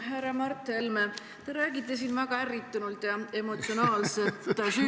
Härra Mart Helme, te räägite siin väga ärritunult ja emotsionaalselt süütuse presumptsioonist.